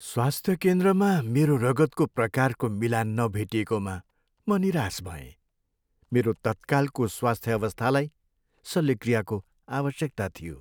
स्वास्थ्य केन्द्रमा मेरो रगतको प्रकारको मिलान नभेटिएकोमा म निराश भएँ। मेरो तत्कालको स्वास्थ्य अवस्थालाई शल्यक्रियाको आवश्यकता थियो।